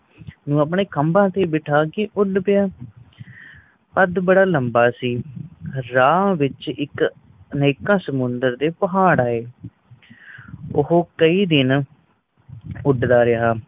ਨੂੰ ਆਪਣੇ ਖਮਭਾ ਤੇ ਬੈਠਾ ਕੇ ਉੱਡ ਪਿਆ ਕਦ ਬੜਾ ਲੰਬਾ ਸੀ ਰਾਹ ਵਿੱਚ ਇਕ ਅਨੇਕਾਂ ਸੁਮੰਦਰਾ ਦੇ ਪਹਾੜ ਆਏ ਉਹ ਕਇ ਦਿਨ ਉੱਡਦਾ ਰਹਿਆ